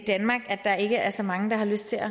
danmark at der ikke er så mange der har lyst til at